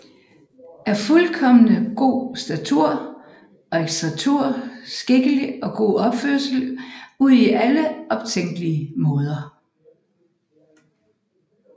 Af fuldkommen god Statur og Exterieur Skikkelig og god Opførsel udi alle optænkelige Maader